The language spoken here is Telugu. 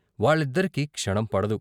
వాళ్ళిద్దరికీ క్షణం పడదు.